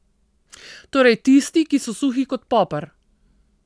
Torej tisti, ki so suhi kot poper.